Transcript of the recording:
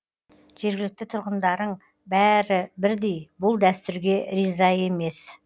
жергілікті тұрғындарың бәрі бірдей бұл дәстүрге риза емес